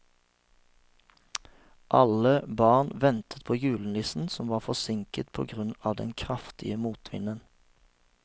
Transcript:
Alle barna ventet på julenissen, som var forsinket på grunn av den kraftige motvinden.